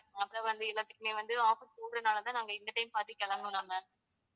அப்புறம் வந்து எல்லாத்துக்குமே வந்து offers போடுறதுனாலதான் நாங்க இந்த time பார்த்துக் கிளம்புனோம் ma'am